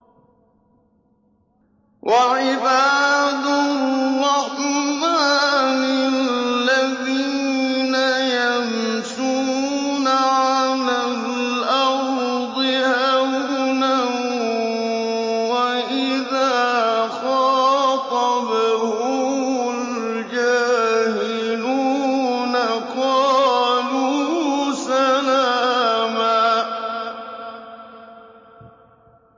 وَعِبَادُ الرَّحْمَٰنِ الَّذِينَ يَمْشُونَ عَلَى الْأَرْضِ هَوْنًا وَإِذَا خَاطَبَهُمُ الْجَاهِلُونَ قَالُوا سَلَامًا